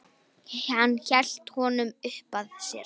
Hann hélt honum uppað sér.